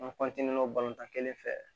An kelen fɛ